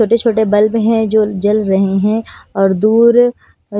छोटे-छोटे बल्ब हैं जो जल रहे हैं और दूर अ --